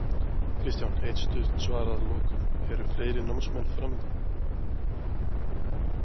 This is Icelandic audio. Kristján eitt stutt svar að lokum, eru fleiri námskeið framundan?